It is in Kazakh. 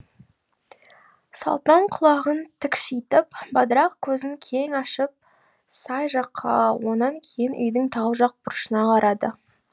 салпаң құлағын тікшитіп бадырақ көзін кен ашып сай жаққа онан кейін үйдің тау жақ бұрышына қарады